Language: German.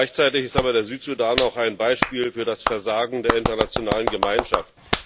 Gleichzeitig ist aber der Südsudan auch ein Beispiel für das Versagen der internationalen Gemeinschaft.